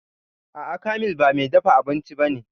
A'a, Kamil ba mai dafa abinci ba ne